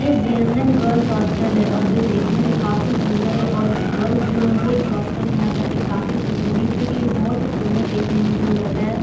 यह JNM. Girls hostel है और जो देखने में काफी सुन्दर है और गर्ल्स जो हैं वो इस हॉस्टल में आकर के काफी खुश होगी क्यूंकि यह बोहोत ही सुन्दर देखने में भ्यू लग रहा है।